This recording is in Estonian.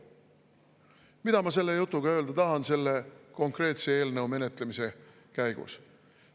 Mida ma selle jutuga öelda tahan selle konkreetse eelnõu menetlemise käigus?